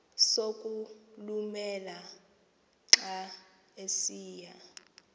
sokulumela xa esiya